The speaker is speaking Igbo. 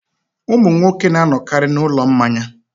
Ụmụ nwoke na-anọkarị n'ụlọ mmanya.